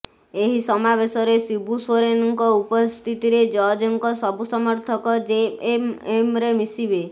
ଏହି ସମାବେଶରେ ଶିବୁ ସୋରେନ୍ଙ୍କ ଉପସ୍ଥିତିରେ ଜର୍ଜଙ୍କ ସବୁ ସମର୍ଥକ ଜେଏମ୍ଏମ୍ରେ ମିଶିବେ